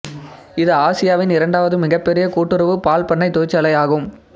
இது ஆசியாவின் இரண்டாவது மிகப்பெரிய கூட்டுறவு பால் பண்ணை தொழிற்சாலை ஆகும்